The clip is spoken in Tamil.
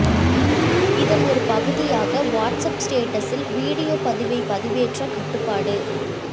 இதன் ஒரு பகுதியாக வாட்ஸ் ஆப் ஸ்டேட்டஸில் வீடியோ பதிவை பதிவேற்ற கட்டுப்பாடு